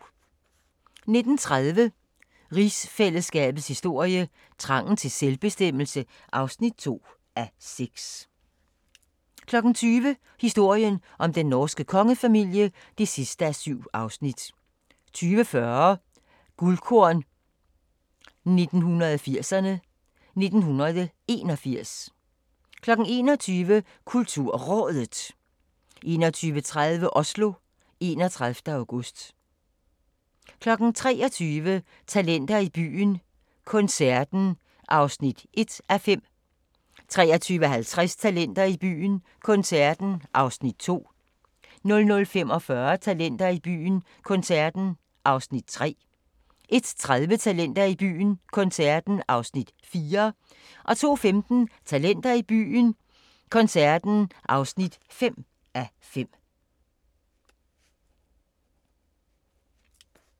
19:30: Rigsfællesskabets historie: Trangen til selvbestemmelse (2:6) 20:00: Historien om den norske kongefamilie (7:7) 20:40: Guldkorn 1980'erne: 1981 21:00: KulturRådet 21:30: Oslo, 31. august 23:00: Talenter i byen – koncerten (1:5) 23:50: Talenter i byen - koncerten (2:5) 00:45: Talenter i byen - koncerten (3:5) 01:30: Talenter i byen - koncerten (4:5) 02:15: Talenter i byen - koncerten (5:5)